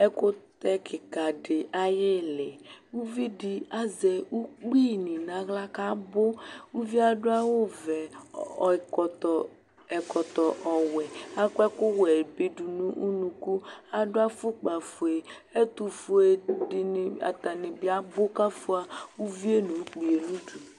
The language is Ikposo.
ɛkutɛ kikadi ayili uvidi azɛ ukpinii nahlă kabõ uvié aduawõ vẽ õ õkõto ẽkõtõ ɔwuẽ akuẽkuwẽ bi dunu unuku aduafukpa fué ɛtufué dini atani bi abu kafua uvié nũ ukpié nudu